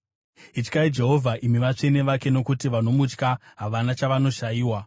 Ityai Jehovha, imi vatsvene vake, nokuti vanomutya havana chavanoshayiwa.